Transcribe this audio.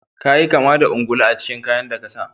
Ka yi kama da ungulu a cikin kayan da ka sa.